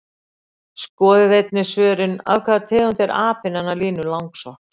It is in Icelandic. Skoðið einnig svörin: Af hvaða tegund er apinn hennar Línu langsokks?